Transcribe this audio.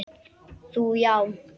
Þú já.